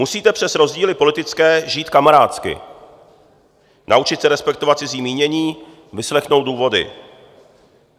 Musíte přes rozdíly politické žít kamarádsky, naučit se respektovat cizí mínění, vyslechnout důvody.